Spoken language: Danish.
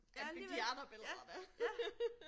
Ja alligevel. Ja, ja